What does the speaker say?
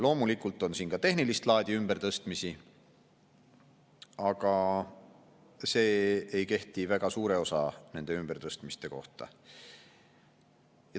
Loomulikult on siin ka tehnilist laadi ümbertõstmisi, aga see ei kehti väga suure osa ümbertõstmiste kohta.